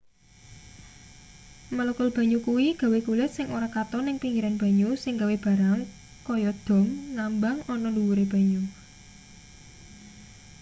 molekul banyu kuwi gawe kulit sing ora katon ning pinggiran banyu sing gawe barang kaya dom ngambang ana ndhuwure banyu